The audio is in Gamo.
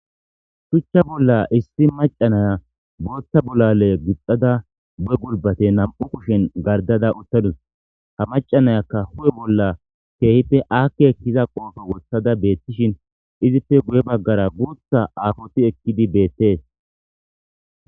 Shuchcha bolla issi macanaya booththa bolale guxxada bu'e gulbate nam'u kushen gardada uttadus ha macanayakka hu'e bolla keehipe aakke ekkiza qoofo wothada beettishin izippe guye baggara guutha aafoti ekkidi beettees.